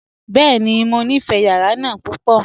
Bẹ́ẹ̀ni, mọ nífé yàrà náà púpọ.